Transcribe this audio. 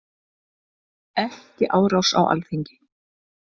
Ekki árás á Alþingi